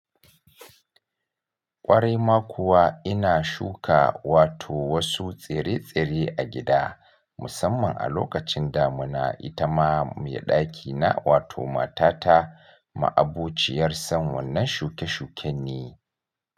Ƙwarai ma kuwa ina shuka wato wasu tsire-tsire a gida musamman a lokacin damuna. Ita ma mai ɗakina wato matata ma abuciyar son wannan shuke-shuken ne.